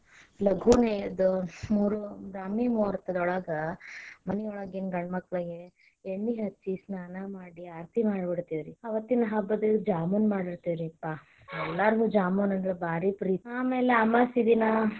ಲಘುನ ಎದ್ದ ಮೂರು ಬ್ರಾಹ್ಮಿ ಮುಹೂರ್ತದೊಳಗ ಮನಿಯೊಳಗಿನ ಗಂಡ ಮಕ್ಳಿಗೆ ಎಣ್ಣಿ ಹಚ್ಚಿ ಸ್ನಾನಾ ಮಾಡಿ ಆರತಿ ಮಾಡಿಬಿಡತೆವರಿ ಅವತ್ತಿನ ಹಬ್ಬಾಕ್ಕ ಜಾಮೂನ ಮಾಡಿರತೆವರಿಪಾ, ಎಲ್ಲರಿಗು ಜಾಮೂನ ಅಂದ್ರ ಬಾರಿ ಪ್ರೀತಿ ಆಮ್ಯಾಲ ಅಮವಾಸಿ ದಿನಾ.